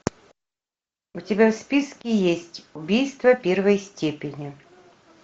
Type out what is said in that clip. у тебя в списке есть убийство первой степени